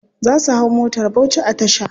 Za su hau motar bauchi a tasha.